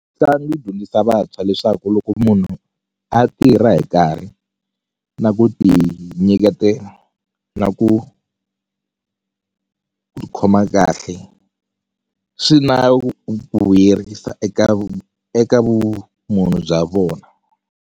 Mitlangu yi dyondzisa vantshwa leswaku loko munhu a tirha hi nkarhi na ku tinyiketela na ku ku tikhoma kahle swi na ku vuyerisa eka eka vumunhu bya vona.